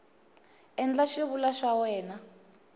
endla xivulwa xa wena n